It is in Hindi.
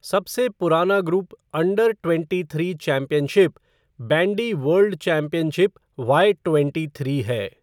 सबसे पुराना group under twenty three championship, bandy world championship Y twenty three है।